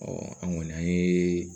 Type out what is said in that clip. an kɔni an ye